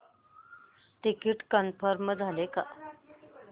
ticket confirm झाले का